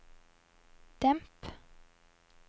demp